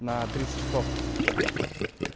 на тридцать часов